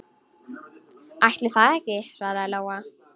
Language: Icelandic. Ætli það ekki, svaraði Lóa.